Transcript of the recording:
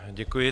Děkuji.